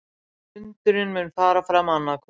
Fundurinn mun fara fram annað kvöld